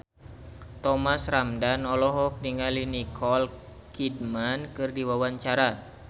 Thomas Ramdhan olohok ningali Nicole Kidman keur diwawancara